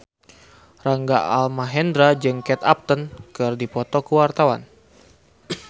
Rangga Almahendra jeung Kate Upton keur dipoto ku wartawan